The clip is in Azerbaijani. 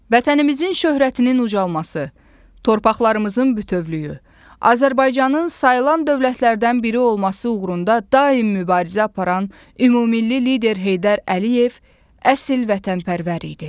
Vətənimizin şöhrətinin ucalması, torpaqlarımızın bütövlüyü, Azərbaycanın sayılan dövlətlərdən biri olması uğrunda daim mübarizə aparan Ümummilli Lider Heydər Əliyev əsl vətənpərvər idi.